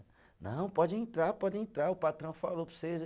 Não, pode entrar, pode entrar, o patrão falou para vocês.